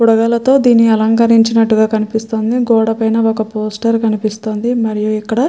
బుడగలతో దీని అలంకరించినట్టుగా కనిపిస్తోంది. గోడ పైన ఒక పోస్టర్ కనిపిస్తోంది. మరియు ఇక్కడ --